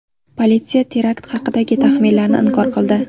Politsiya terakt haqidagi taxminlarni inkor qildi.